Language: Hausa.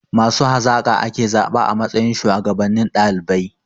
Masu hazaka ake zaɓa a matsayin shuwagabannin ɗalibai.